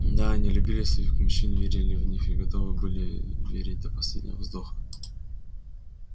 да они любили своих мужчин верили в них и готовы были верить до последнего вздоха